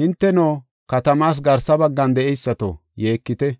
Hinteno, katamaas garsa baggan de7eysato, yeekite.